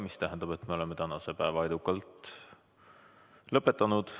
See tähendab, et me oleme tänase päeva edukalt lõpetanud.